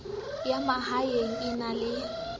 ya mahaeng e na le